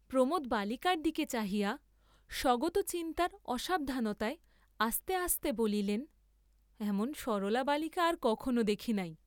প্রমোদ বালিকার দিকে চাহিয়া স্বগতচিন্তার অসাবধানতায় আস্তে আস্তে বলিলেন এমন সরলা বালিকা আর কখনও দেখি নাই।